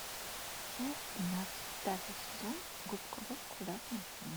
часть тринадцать пятый сезон губка боб квадратные штаны